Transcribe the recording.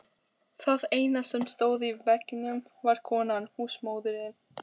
HÓTELHALDARI: Ef hann gæti nú álpast til.